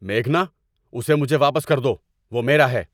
میگھنا، اسے مجھے واپس کر دو۔ وہ میرا ہے!